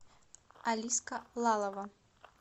алиска лалова